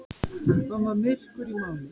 Hann var myrkur í máli.